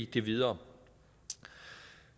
det videre